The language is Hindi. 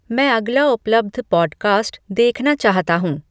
मैं अगला उपलब्ध पॉडकास्ट देखना चाहता हूँ